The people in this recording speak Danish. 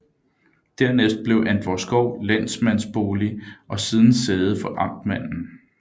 Dernæst blev Antvorskov lensmandsbolig og siden sæde for amtmanden